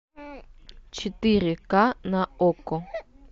четыре к на окко